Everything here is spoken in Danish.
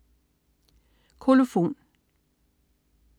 Kolofon